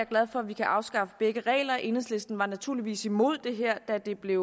glad for at vi kan afskaffe begge regler enhedslisten var naturligvis imod det her da det blev